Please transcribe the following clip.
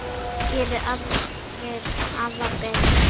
Geri aðrir afar betur.